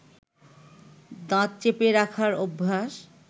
দাঁত চেপে রাখার অভ্যাস